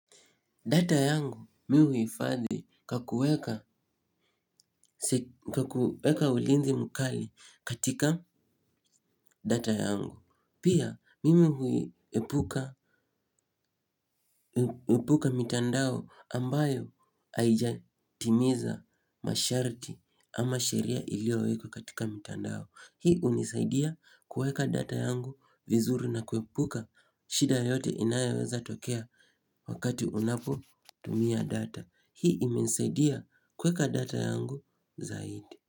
Data yangu mimi huifadhi kwa kuweka. Kwa kuweka ulinzi mkali katika data yangu. Pia mimi huiepuka mitandao ambayo haijatimiza masharti ama sheria iliyowekwa katika mitandao. Hii hunisaidia kueka data yangu vizuri na kuepuka shida yote inayoweza tokea wakati unapo tumia data hii imesaidia kueka data yangu zaidi.